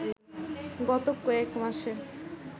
গত কয়েকমাসে